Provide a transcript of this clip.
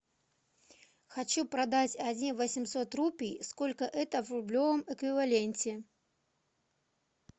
хочу продать один восемьсот рупий сколько это в рублевом эквиваленте